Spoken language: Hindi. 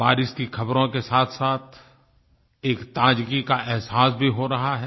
बारिश की खबरों के साथसाथ एक ताजगी का अहसास भी हो रहा है